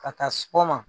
Ka taa sɔgɔma